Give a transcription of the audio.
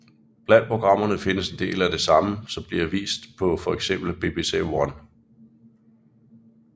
Blandt programmene findes en del af det samme som bliver vist på for eksempel BBC One